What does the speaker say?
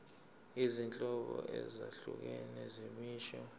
izinhlobo ezahlukene zemisho